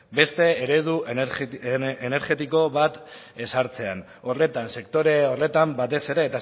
beste eredu energetiko bat ezartzean horretan sektore horretan batez ere